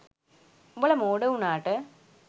උඹලා මෝඩ උනාට